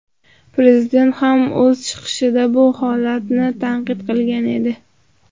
Prezident ham o‘z chiqishida bu holatni tanqid qilgan edi.